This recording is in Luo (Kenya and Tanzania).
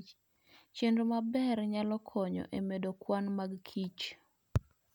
Chenro maber nyalo konyo e medo kwan mag kich.